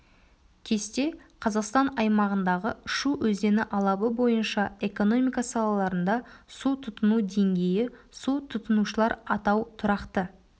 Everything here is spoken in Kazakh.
кесте қазақстан аймағындағы шу өзені алабы бойынша экономика салаларында су тұтыну деңгейі су тұтынушылар атау тұрақты